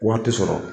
Wari ti sɔrɔ